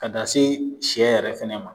Ka taa se sɛ yɛrɛ fana ma